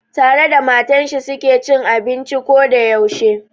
Tare da matar shi su ke cin abinci ko da yaushe.